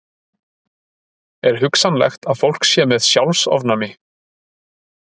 Er hugsanlegt að fólk sé með sjálfsofnæmi?